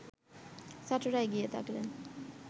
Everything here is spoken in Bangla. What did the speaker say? ছাত্ররা এগিয়ে থাকলে